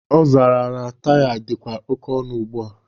Ọ zara na taya dịzikwa oke ọnụ ugbua.